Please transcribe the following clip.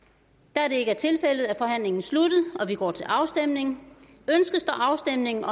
da det ikke er tilfældet er forhandlingen sluttet og vi går til afstemning afstemning